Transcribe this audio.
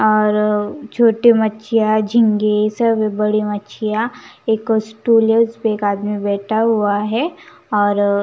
और छोटे मच्छिया झींगे सब है बड़े मच्छिया एक स्टूल है उसपे एक आदमी बैठा हुआ है और --